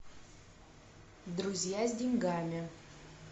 друзья с деньгами